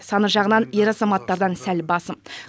саны жағынан ер азаматтардан сәл басым